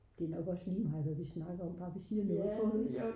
det er nok også ligemeget hvad vi snakker om bare vi siger noget tror du ikke?